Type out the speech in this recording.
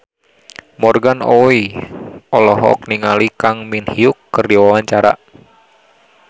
Morgan Oey olohok ningali Kang Min Hyuk keur diwawancara